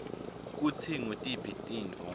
kutsi ngutiphi tintfo